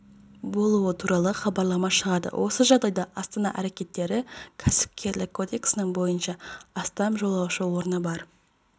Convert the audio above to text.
болуы туралы хабарлама шығарды осы жағдайда астана әрекеттері кәсіпкерлік кодексінің бойынша астам жолаушы орны бар